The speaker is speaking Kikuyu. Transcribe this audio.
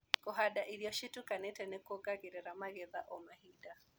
Kũhanda irio citukaniĩte nĩkuongagĩrira magetha o mahinda.